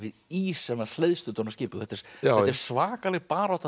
ís sem hleðst utan á skipið og þetta er svakaleg barátta